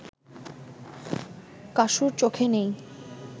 কাসুর চোখে নেই